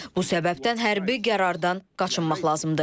Bu səbəbdən hərbi qərardan qaçınmaq lazımdır.